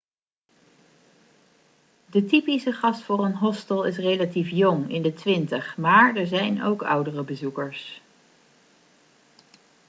de typische gast voor een hostel is relatief jong in de twintig maar er zijn ook oudere bezoekers